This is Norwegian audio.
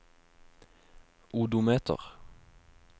odometer